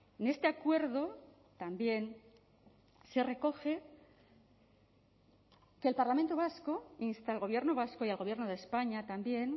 en este acuerdo también se recoge que el parlamento vasco insta al gobierno vasco y al gobierno de españa también